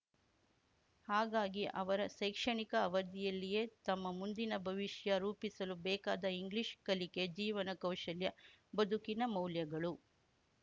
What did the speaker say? ಹಾಗಾಗಿ ಅವರ ಶೈಕ್ಷಣಿಕ ಅವಧಿಯಲ್ಲಿಯೇ ತಮ್ಮ ಮುಂದಿನ ಭವಿಷ್ಯ ರೂಪಿಸಲು ಬೇಕಾದ ಇಂಗ್ಲಿಷ್‌ ಕಲಿಕೆ ಜೀವನ ಕೌಶಲ್ಯ ಬದುಕಿನ ಮೌಲ್ಯಗಳು